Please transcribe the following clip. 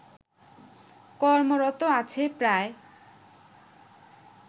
কর্মরত আছে প্রায়